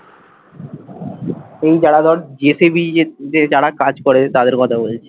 এই যারা ধর জিটিভি যে যে যারা কাজ করে তাদের কথা বলছি।